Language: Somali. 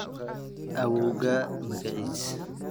Awoowgaa magacis?